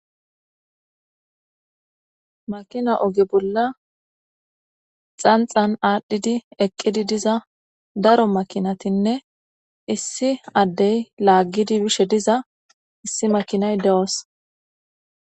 makina oge bolla xanxan aadhdhidi eqqidi diza daro makinatinne issi addey laaggidi bishe diza issi makinay de7oos